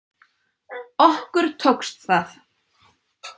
Okkur tókst það